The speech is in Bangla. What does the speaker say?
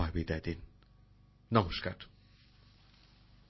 মূল অনুষ্ঠানটি হিন্দিতে সম্প্রচারিত হয়েছে